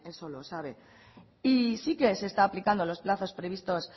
eso lo sabe y sí que se está aplicando los plazos previstos